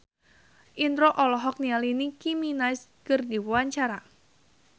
Indro olohok ningali Nicky Minaj keur diwawancara